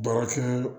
Baarakɛ